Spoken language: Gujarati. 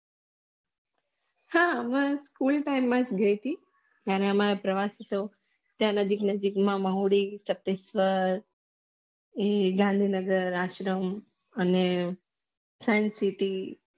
હા હું સ્કૂલ time માં ગઈ થી ત્યાં અમારો પ્રવાસ હતો ત્યાં નજીક નજીક માં મહુદી સાતેશ્વ્ર પછી ગાંધી નગર આશ્રમ અને science city